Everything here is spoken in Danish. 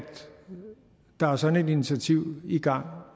der er sådan et initiativ i gang